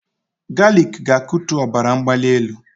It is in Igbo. Galik ga-akutu ọbara mgbali elu